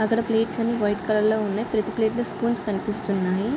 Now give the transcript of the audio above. అక్కడ ప్లేట్స్ అన్ని white colour లో ఉన్నాయ్ ప్రతి ప్లేట్ లో స్పూన్స్ కనిపిస్తున్నాయి.